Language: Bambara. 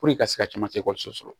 i ka se ka caman sɔrɔ